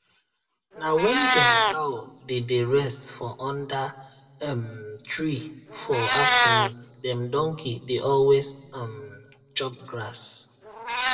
na when dem cow dey dey rest for under um tree for afternoon dem donkey dey always um chop grass